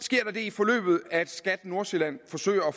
forløbet at skat nordsjælland forsøger at